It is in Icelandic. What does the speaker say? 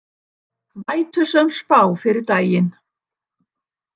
Vætusöm spá fyrir daginn